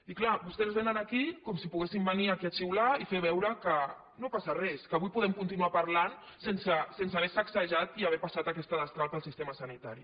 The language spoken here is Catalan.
i clar vostès vénen aquí com si poguessin venir aquí a xiular i fer veure que no passa res que avui podem continuar parlant sense haver sacsejat i haver passat aquesta destral pel sistema sanitari